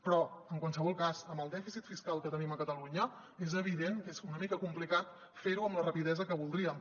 però en qualsevol cas amb el dèficit fiscal que tenim a catalunya és evident que és una mica complicat ferho amb la rapidesa que voldríem